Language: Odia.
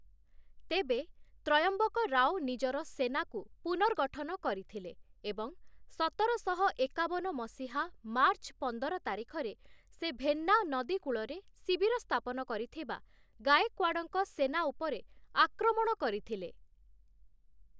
ତେବେ, ତ୍ରୟମ୍ବକରାଓ ନିଜର ସେନାକୁ ପୁନର୍ଗଠନ କରିଥିଲେ ଏବଂ ସତରଶହ ଏକାବନ ମସିହା ମାର୍ଚ୍ଚ ପନ୍ଦର ତାରିଖରେ ସେ ଭେନ୍ନା ନଦୀ କୂଳରେ ଶିବିର ସ୍ଥାପନ କରିଥିବା, ଗାଏକ୍ୱାଡ଼ଙ୍କ ସେନା ଉପରେ ଆକ୍ରମଣ କରିଥିଲେ ।